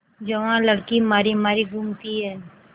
जवान लड़की मारी मारी घूमती है